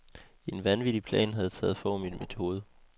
En vanvittig plan havde taget form i mit hoved.